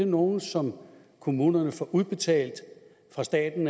nogle som kommunerne får udbetalt fra staten